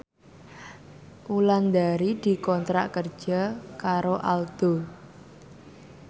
Wulandari dikontrak kerja karo Aldo